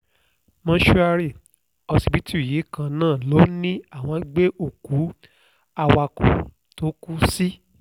mòṣùárì ọsibítù yìí kan náà ló ní àwọn gbé òkú awakọ̀ tó kù sí